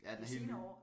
Ja den er helt ny